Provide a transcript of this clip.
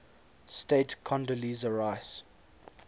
state condoleezza rice